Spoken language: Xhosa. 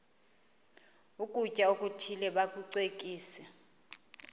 ukutya okuthile bakucekise